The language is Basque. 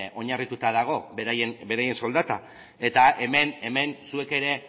oinarrituta dago beraien soldata eta hemen zuek ere